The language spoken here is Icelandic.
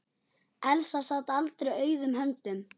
Elsa sat aldrei auðum höndum.